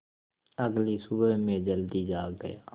अगली सुबह मैं जल्दी जाग गया